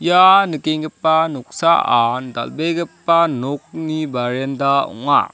ia nikenggipa noksaan dal·begipa nokni barenda ong·a.